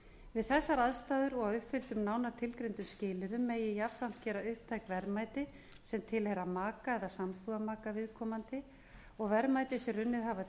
við þessar aðstæður og að uppfylltum nánar tilgreindum skilyrðum megi jafnframt gera upptæk verðmæti sem tilheyra maka eða sambúðarmaka viðkomandi og verðmæti sem runnið hafa